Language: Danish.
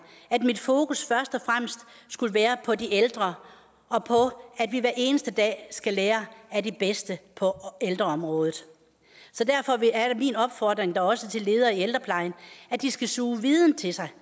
at mit fokus først og fremmest skulle være på de ældre og på at vi hver eneste dag skal lære af de bedste på ældreområdet så derfor er min opfordring da også til ledere i ældreplejen at de skal suge viden til sig